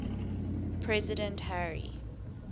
president harry